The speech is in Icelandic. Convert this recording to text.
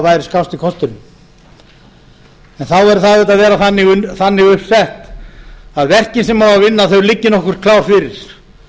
væri kosti kosturinn þá yrði það auðvitað að vera þannig uppsett að verkin sem á að vinna liggi nokkuð klár fyrir